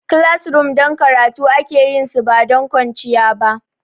Classrooms don karatu aka yi su ba don kwanciya ba.